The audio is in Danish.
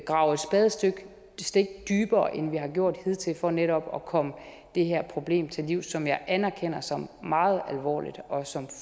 grave et spadestik dybere end vi har gjort hidtil for netop at komme det her problem til livs som jeg anerkender som meget alvorligt og som